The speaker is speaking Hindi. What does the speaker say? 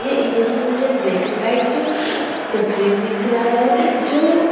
ये इमेज में मुझे ब्लैकं एंड वाइट तस्वीर दिख रहा है जो --